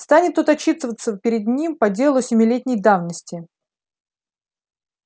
станет тот отчитываться перед ним по делу семилетней давности